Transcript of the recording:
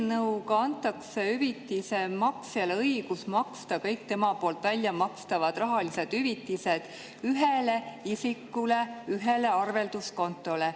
Eelnõuga antakse hüvitise maksjale õigus maksta kõik tema väljamakstavad rahalised hüvitised isiku ühele arvelduskontole.